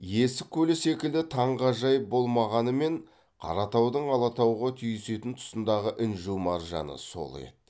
есік көлі секілді таңғажайып болмағанымен қаратаудың алатауға түйісетін тұсындағы інжу маржаны сол еді